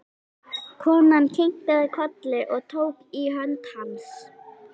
Konan kinkaði kolli og tók í hönd hans.